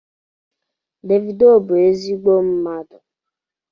Davido bụ ezigbo mmadụ